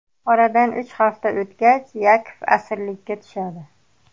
Oradan uch hafta o‘tgach Yakov asirlikka tushadi.